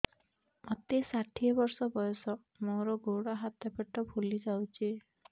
ମୋତେ ଷାଠିଏ ବର୍ଷ ବୟସ ମୋର ଗୋଡୋ ହାତ ପେଟ ଫୁଲି ଯାଉଛି